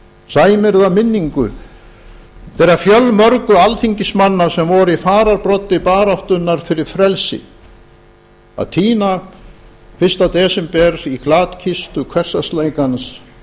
sæmir það minningu þeirra fjölmörgu alþingismanna sem voru í fararbroddi baráttunnar fyrir frelsi að týna fyrsta desember í glatkistu hversdagsleikans